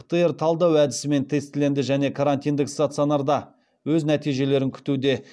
птр талдау әдісімен тестіленді және карантиндік стационарда өз нәтижелерін күтуде